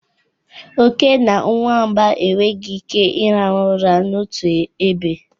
Oke na nwamba enweghị ike ịrahụ ụra n'otu ebe.